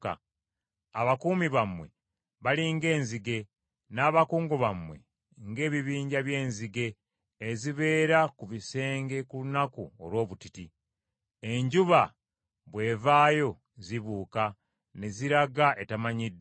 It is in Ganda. Abakuumi bammwe bali ng’enzige, n’abakungu bammwe ng’ebibinja by’enzige ezibeera ku bisenge ku lunaku olw’obutiti. Enjuba bw’evaayo zibuuka ne ziraga etamanyiddwa.